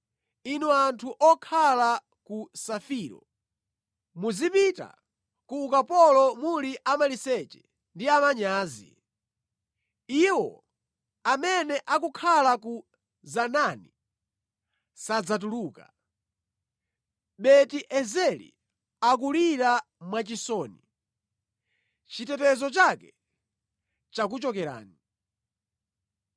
Inu anthu okhala ku Safiro, muzipita ku ukapolo muli amaliseche ndi amanyazi. Iwo amene akukhala ku Zanaani sadzatuluka. Beti-Ezeli akulira mwachisoni; chitetezo chake chakuchokerani.